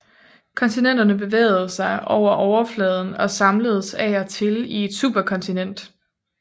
Kontinenterne bevægede sig over overfladen og samledes af og til i et superkontinent